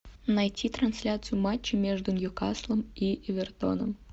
найти трансляцию матча между ньюкаслом и эвертоном